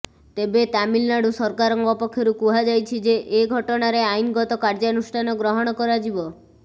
ତେବେ ତାମିଲନାଡୁ ସରକାରଙ୍କ ପକ୍ଷରୁ କୁହାଯାଇଛି ଯେ ଏ ଘଟଣାରେ ଆଇନଗତ କାର୍ଯ୍ୟାନୁଷ୍ଠାନ ଗ୍ରହଣ କରାଯିବ